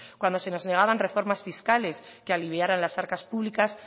cuando se nos negaban reformas fiscales que aliviaran las arcas públicas